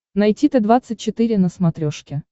найти т двадцать четыре на смотрешке